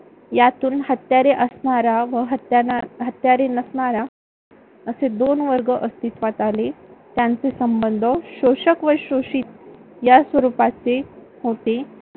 यातून हत्यारे असणारा व हत्यारे नसणारा असे दोन वर्ग अस्तित्वात आले. त्यांचे संबंध शोषक व शोषित या स्वरूपाचे होते.